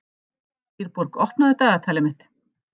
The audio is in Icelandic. Dýrborg, opnaðu dagatalið mitt.